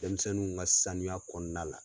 Denmisɛnninw ka sanuya kɔnɔna la.